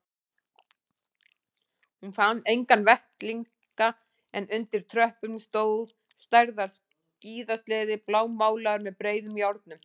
Hún fann enga vettlinga en undir tröppunum stóð stærðar skíðasleði blámálaður með breiðum járnum.